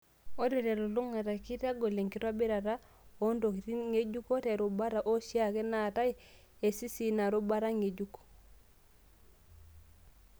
Ore te lulung'ata, keitagol enkitobirata oontokiting' ngejuko te rubata oshiake naatae esisi ina rubata ng'ejuk.